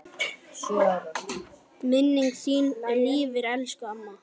Minning þín lifir elsku amma.